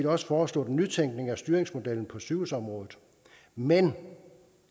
også foreslået en nytænkning af styringsmodellen på sygehusområdet men